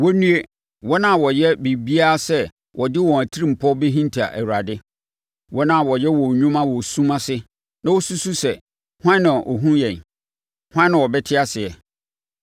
Wɔnnue, wɔn a wɔyɛ biribiara sɛ wɔde wɔn atirimpɔ bɛhinta Awurade, wɔn a wɔyɛ wɔn nnwuma wɔ sum ase na wɔsusu sɛ, “Hwan na ɔhunu yɛn? Hwan na ɔbɛte aseɛ?”